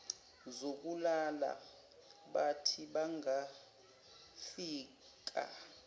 zokulala bathi bangafika